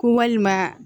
Ko walima